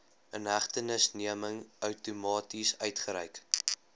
inhegtenisneming outomaties uitgereik